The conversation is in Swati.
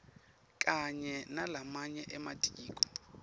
kanye nalamanye ematiko